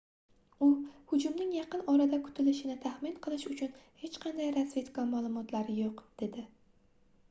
u hujumning yaqin-orada kutilishini taxmin qilish uchun hech qanday razvedka maʼlumotlari yoʻq dedi